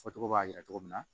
Fɔcogo b'a jira cogo min na